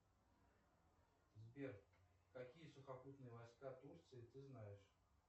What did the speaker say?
сбер какие сухопутные войска турции ты знаешь